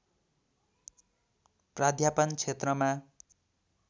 प्राध्यापन क्षेत्रमा